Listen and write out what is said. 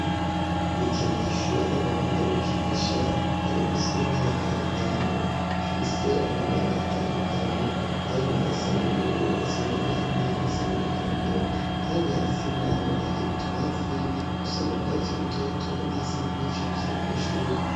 Ibikinisho abana bakunda gukinisha kari musi 'imyaka itanu ifise amabara atandukanye haimu asan'ubururu asa n'agahama asa n'umuhondo kandi hasi naho hari butwatsi dusa n'ubguatsi rutoto nahasanzwe hacafye amashugwe.